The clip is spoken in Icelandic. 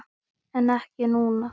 En ekki núna?